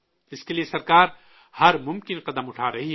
اس کے لیے سرکار ہر ممکن قدم اٹھا رہی ہے